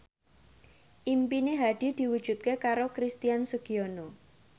impine Hadi diwujudke karo Christian Sugiono